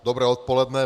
Dobré odpoledne.